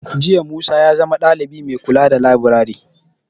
Jiya Musa ya zama dalibi mai kula da laburare.